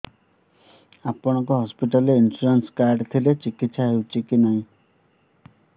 ଆପଣଙ୍କ ହସ୍ପିଟାଲ ରେ insurance card ଥିଲେ ଚିକିତ୍ସା ହେଉଛି କି ନାଇଁ